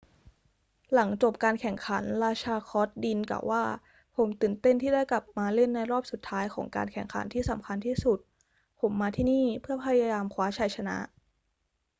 หลังจบการแข่งขัน ราชาคอร์ตดินกล่าวว่า ผมตื่นเต้นที่ได้กลับมาเล่นในรอบสุดท้ายของการแข่งขันที่สำคัญที่สุด ผมมาที่นี่เพื่อพยายามคว้าชัยชนะ